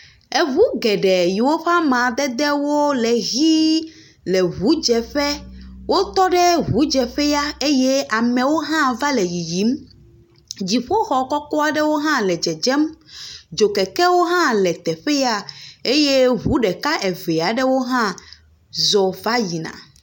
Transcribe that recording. Eŋu bgeɖee yiwo ƒe amadedewo le ʋii le ŋudzeƒe. Wotɔ ɖe ŋudzeƒea eye amewo hã va le yiyim. Dziƒoxɔ kɔkɔ aɖewo hã le dzedzem. Dzokekewo hã le teƒe ya. Eye ŋu ɖeka eve aɖewo hã zɔ va yina.